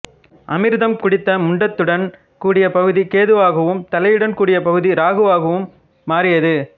அமிர்தம் குடித்த முண்டத்துடன் கூடிய பகுதி கேதுவாகவும் தலையுடன் கூடிய பகுதி இராகுவாகவும் மாறியது